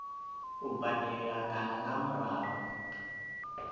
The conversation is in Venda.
u badela kana nga murahu